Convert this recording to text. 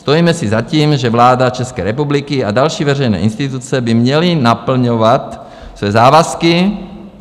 Stojíme si za tím, že vláda České republiky a další veřejné instituce by měly naplňovat své závazky."